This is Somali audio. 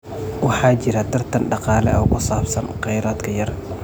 Waxaa jira tartan dhaqaale oo ku saabsan kheyraadka yar.